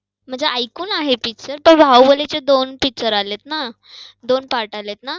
म्हणजे ऐकून आहे picture. बाहुबलीचे दोन picture आलेत ना? दोन part आलेत ना?